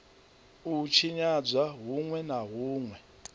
u tshinyadzwa hunwe na hunwe